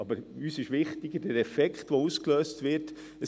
Aber uns ist der Effekt, der ausgelöst wird, wichtiger.